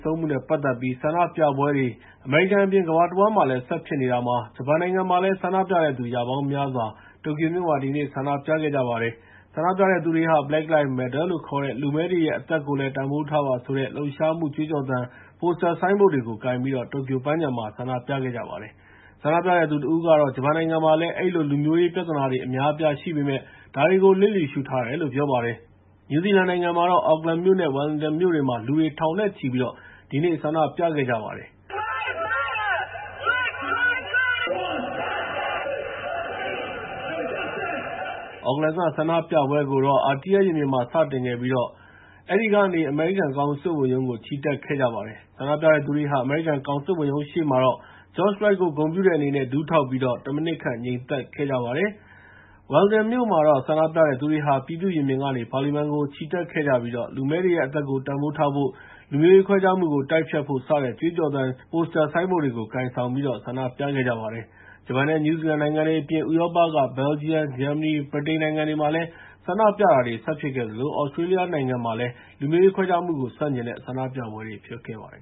ဆုံးမှုနဲ့ ပတ်သက်ပြီး ဆန္ဒပြပွဲတွေ အမေရိကန်အပြင် ကမ္ဘာတဝန်း ဆက်ဖြစ်နေတာမှာ ဂျပန်နိုင်ငံမှာလည်း ဆန္ဒပြတဲ့သူ ရာပေါင်းများစွာဟာ တိုကျိုမြို့မှာ ဒီနေ့ ဆန္ဒပြခဲ့ကြပါတယ်။ ဆန္ဒပြတဲ့သူတွေဟာ Black Lives Matter လို့ခေါ်တဲ့ လူမည်းတွေရဲ့ အသက်ကိုလည်း တန်ဖိုးထားပါဆိုတဲ့ လှုပ်ရှားမှု ကြွေးကြော်သံ ပိုစတာ ဆိုင်းဘုတ်တွေ ကိုင်ပြီး တိုကျိုပန်းခြံမှာ ဆန္ဒပြခဲ့ကြတာပါ။ ဆန္ဒပြတဲ့သူတဦးကတော့ ဂျပန်နိုင်ငံမှာလည်း အဲဒီလို လူမျိုးရေးပြဿနာတွေ အများအပြား ရှိပေမယ့် ဒါကို လျစ်လျူရှုထားတယ်လို့ ပြောပါတယ်။ နယူးဇီလန်နိုင်ငံမှာတော့ Auckland မြို့နဲ့ Wellington မြို့တွေမှာ လူတွေ ထောင်နဲ့ချီ ဒီနေ့ ဆန္ဒ္ဒပြခဲ့ကြပါတယ်။ Auckland က ဆန္ဒပြပွဲကတော့ Aotea ရင်ပြင်မှာ စတင်ခဲ့ပြီး အဲဒီကနေ အမေရိကန် ကောင်စစ်ဝန်ရုံးကို ချီတက်ခဲ့ကြပါတယ်။ ဆန္ဒပြတဲ့သူတွေဟာ အမေရိကန် ကောင်စစ်ဝန်ရုံးရှေ့မှာ George Floyd ကို ဂုဏ်ပြုတဲ့အနေနဲ့ ဒူးထောက်ပြီးတော့ ၁ မိနစ်ခန့် ငြိမ်သက်ခဲ့ကြပါတယ်။ Wellington မြို့မှာတော့ ဆန္ဒပြတဲ့သူတွေဟာ ပြည်သူ့ရင်ပြင်က ပါလီမန်ကို ချီတက်ခဲ့ကြပြီး လူမည်းတွေရဲ့အသက်ကို တန်ဖိုးထားဖို့၊ လူမျိုးရေးခွဲခြားမှုကို တိုက်ဖျက်ဖို့ စတဲ့ ကြွေးကြော်သံတွေ ပိုစတာ ဆိုင်းဘုတ်တွေကို ကိုင်ဆောင်ပြီးတော့ ဆန္ဒပြခဲ့ကြပါတယ်။ ဂျပန်နဲ့ နယူးဇီလန်နိုင်ငံတွေအပြင် ဥရောပက ဘယ်လ်ဂျီယံ၊ ဂျာမနီ၊ ဗြိတိန်နိုင်ငံတွေမှာလည်း ဆန္ဒပြပွဲတွေ ဆက်ဖြစ်ခဲ့သလို သြစတြေးလျနိုင်ငံမှာလည်း လူမျိုးရေးခွဲခြားမှုကို ဆန့်ကျင်တဲ့ ဆန္ဒပြပွဲတွေ ဖြစ်ခဲ့ပါတယ်